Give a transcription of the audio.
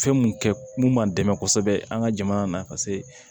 Fɛn mun kɛ mun b'an dɛmɛ kosɛbɛ an ka jamana na paseke